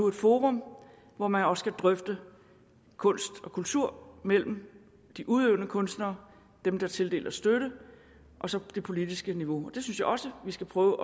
et forum hvor man også kan drøfte kunst og kultur mellem de udøvende kunstnere dem der tildeler støtte og så det politiske niveau og jeg synes også vi skal prøve